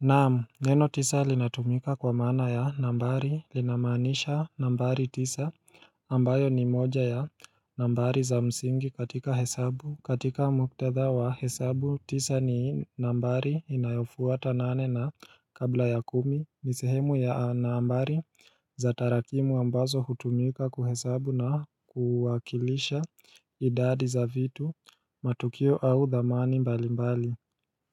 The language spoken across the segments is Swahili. Naam neno tisa linatumika kwa maana ya nambari lina maanisha nambari tisa ambayo ni moja ya nambari za msingi katika hesabu katika muktadha wa hesabu tisa ni nambari inayofuata nane na kabla ya kumi ni sehemu ya nambari za tarakimu ambazo hutumika kuhesabu na kuwakilisha idadi za vitu matukio au dhamani mbali mbali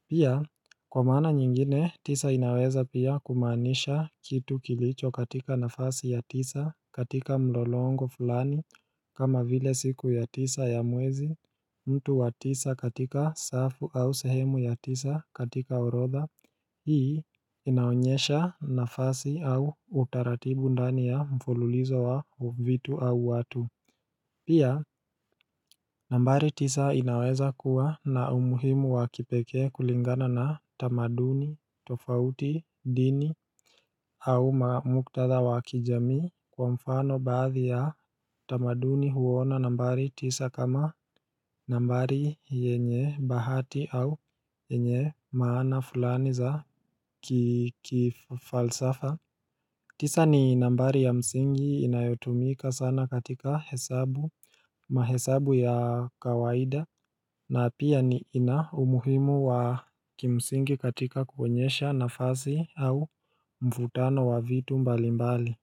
Pia kwa maana nyingine tisa inaweza pia kumaanisha kitu kilicho katika nafasi ya tisa katika mlolongo fulani kama vile siku ya tisa ya mwezi mtu wa tisa katika safu au sehemu ya tisa katika orodha hii inaonyesha nafasi au utaratibu ndani ya mfululizo wa vitu au watu Pia nambari tisa inaweza kuwa na umuhimu wakipekee kulingana na tamaduni, tofauti, dini au mamuktatha wakijamii kwa mfano baadhi ya tamaduni huona nambari tisa kama nambari yenye bahati au yenye maana fulani za kifalsafa tisa ni nambari ya msingi inayotumika sana katika hesabu mahesabu ya kawaida na pia niina umuhimu wa kimsingi katika kuonyesha nafasi au mfutano wa vitu mbalimbali.